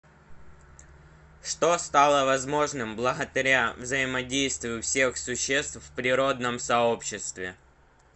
что стало возможным благодаря взаимодействию всех существ в природном сообществе